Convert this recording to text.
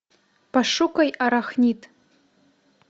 пошукай арахнид